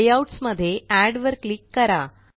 layouts मध्ये add वर click करा